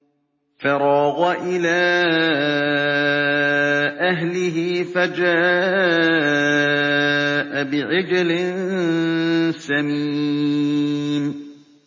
فَرَاغَ إِلَىٰ أَهْلِهِ فَجَاءَ بِعِجْلٍ سَمِينٍ